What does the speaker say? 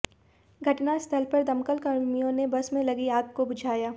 घटनास्थल पर दमकलकर्मियों ने बस में लगी आग को बुझाया